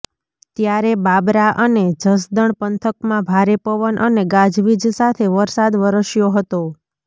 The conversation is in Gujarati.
ત્યારે બાબરા અને જસદણ પંથકમાં ભારે પવન અને ગાજવીજ સાથે વરસાદ વરસ્યો હતો